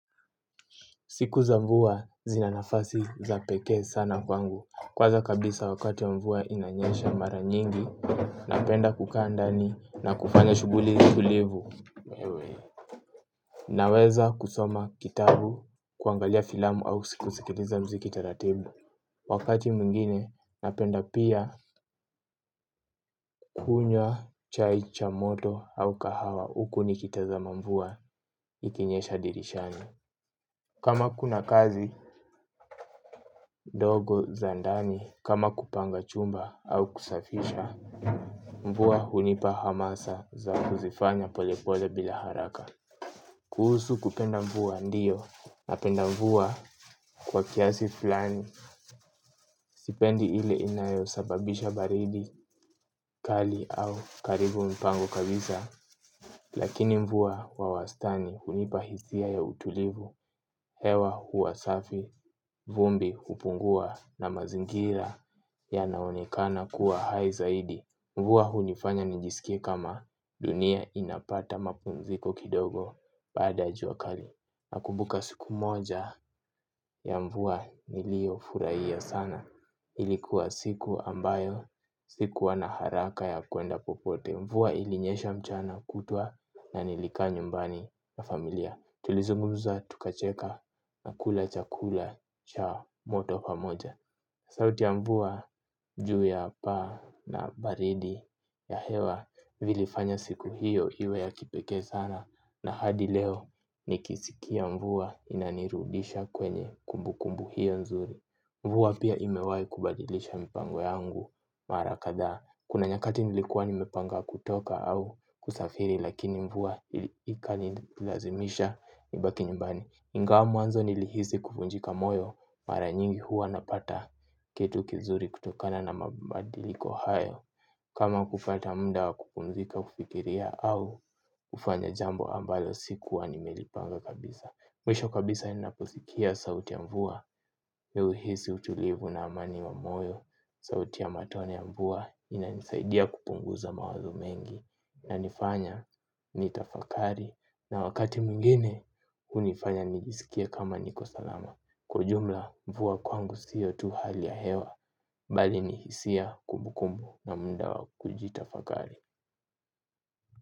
Siku za mvua zinanafasi za peke sana kwangu. Kwanza kabisa wakati ya mvua inanyesha mara nyingi napenda kukaa ndani na kufanya shuguli tulivu. Naweza kusoma kitabu kuangalia filamu au siku sikiliza mziki taratibu. Wakati mwingine napenda pia kunywa chai cha moto au kahawa. Uku ni kitazama mvua ikinyesha dirishani. Kama kuna kazi dogo za ndani kama kupanga chumba au kusafisha mvua hunipa hamasa za kuzifanya polepole bila haraka. Kuhusu kupenda mvua ndiyo napenda mvua kwa kiasi fulani. Sipendi ile inayo sababisha baridi kali au kaharibu mpango kabisa. Lakini mvua wa wastani hunipa hisia ya utulivu. Hewa huwa safi vumbi hupungua na mazingira yanaonekana kuwa hai zaidi. Mvua hunifanya nijisikia kama dunia inapata mapumziko kidogo baada ya juakali. Nakumbuka siku moja ya mvua nilio furaia sana. Ilikuwa siku ambayo sikuwa na haraka ya kuenda popote. Mvua ilinyesha mchana kutua na nilikaa nyumbani na familia. Tulizungumza tukacheka na kula chakula cha moto pamoja. Sauti ya mvua juu ya paa na baridi ya hewa vilifanya siku hiyo hiwe ya kipekee sana na hadi leo nikisikia mvua inanirudisha kwenye kumbu kumbu hiyo nzuri. Mvua pia imewai kubadilisha mpango yangu mara kadhaa. Kuna nyakati nilikua nimepanga kutoka au kusafiri lakini mvua ikanilazimisha kubaki nyumbani. Ingawa mwanzo nilihisi kufunjika moyo, mara nyingi huwa napata kitu kizuri kutokana na mabadiliko hayo. Kama kufata muda wakupumzika kufikiria au ufanya jambo ambalo sikuwa nimelipanga kabisa. Mwisho kabisa ninaposikia sauti ya mvua. Mi uhisi utulivu na amani wa moyo. Sauti ya matone ya mvua inanisaidia kupunguza mawazo mengi. Na nifanya ni tafakari. Na wakati mwingine unifanya nijisikie kama niko salama. Kwa jumla mvua kwangu siyo tu hali ya hewa. Bali ni hisia kumbu kumbu na muda wa kujitafakari.